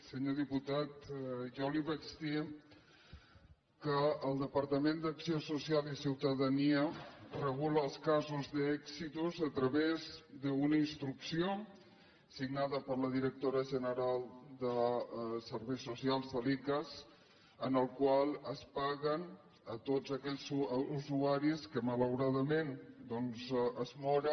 senyor diputat jo li vaig dir que el departament d’acció social i ciutadania regula els casos d’èxitus a través d’una instrucció signada per la directora general de serveis socials de l’icass per la qual es paga a tots aquells usuaris que malauradament doncs es moren